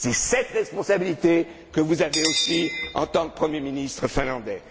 C'est cette responsabilité que vous avez aussi en tant que premier ministre finlandais.